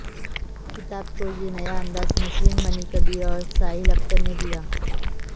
کتاب کو یہ نیا انداز نسرین منی کبیر اور سہیل اختر نے دیا